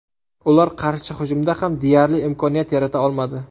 Ular qarshi hujumda ham deyarli imkoniyat yarata olmadi.